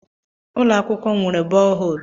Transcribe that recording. Ụlọ akwụkwọ m nwere bọọ hol.